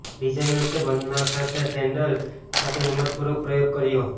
ડિઝાઇનર્સે બંધ નાક સાથે સેન્ડલ સાથે હિંમતપૂર્વક પ્રયોગ કર્યો